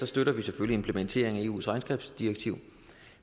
støtter vi selvfølgelig implementeringen af eus regnskabsdirektiv